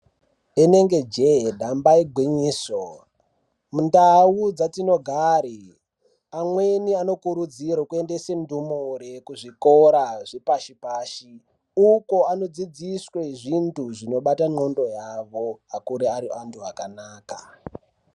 Inenge je damba igwinyiso mundau dzatinogara amweni anokurudzirwa kuendesa ndumure kuzvikora zvepashi pashi uko anodzidziswa untu zvinobata nxondo yawo akure ane huntu akanaka.